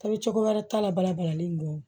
Tɔbili cogo wɛrɛ t'a la bala balalen kɔ